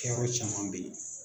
Kɛyɔrɔ caman be ye